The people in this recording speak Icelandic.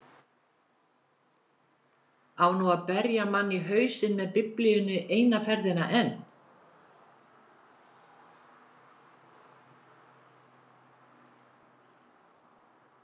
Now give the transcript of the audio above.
Á nú að berja mann í hausinn með Biblíunni eina ferðina enn?